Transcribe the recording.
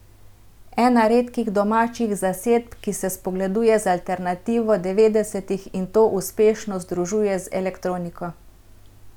Ena redkih domačih zasedb, ki se spogleduje z alternativo devetdesetih in to uspešno združuje z elektroniko.